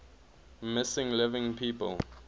missing living people